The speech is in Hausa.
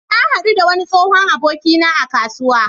Na haɗu da wani tsohon abokina a kasuwa.